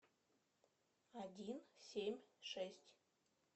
один семь шесть